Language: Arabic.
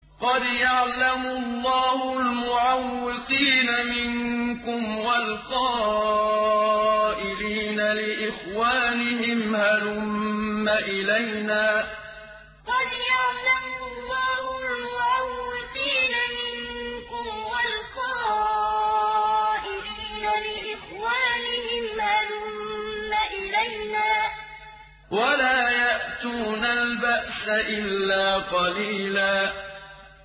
۞ قَدْ يَعْلَمُ اللَّهُ الْمُعَوِّقِينَ مِنكُمْ وَالْقَائِلِينَ لِإِخْوَانِهِمْ هَلُمَّ إِلَيْنَا ۖ وَلَا يَأْتُونَ الْبَأْسَ إِلَّا قَلِيلًا ۞ قَدْ يَعْلَمُ اللَّهُ الْمُعَوِّقِينَ مِنكُمْ وَالْقَائِلِينَ لِإِخْوَانِهِمْ هَلُمَّ إِلَيْنَا ۖ وَلَا يَأْتُونَ الْبَأْسَ إِلَّا قَلِيلًا